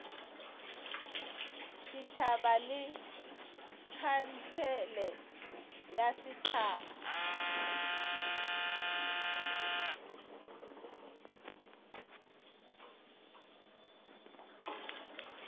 setšhaba le khansele ya setšhaba